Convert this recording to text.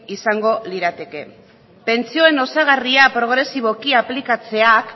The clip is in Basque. izango lirateke pentsioen osagarria progresiboki aplikatzeak